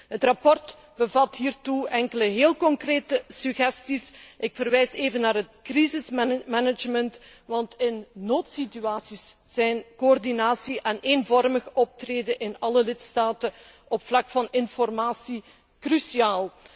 Het verslag bevat hiertoe enkele heel concrete suggesties ik verwijs even naar het crisismanagement, want in noodsituaties zijn coördinatie en eenvormig optreden in alle lidstaten op vlak van informatie cruciaal.